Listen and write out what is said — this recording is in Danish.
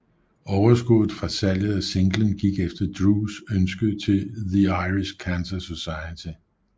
Overskuddet fra salget af singlen gik efter Drews ønske til The Irish Cancer Society